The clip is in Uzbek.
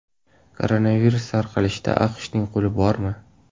Koronavirus tarqalishida AQShning qo‘li bormi?